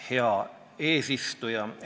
Hea eesistuja!